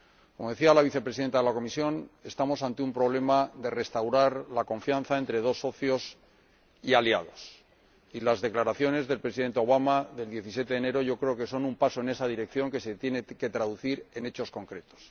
Como decía la Vicepresidenta de la Comisión, estamos ante un problema consistente en restaurar la confianza entre dos socios y aliados, y yo creo que las declaraciones del Presidente Obama del 17 de enero son un paso en esa dirección, que se tiene que traducir en hechos concretos.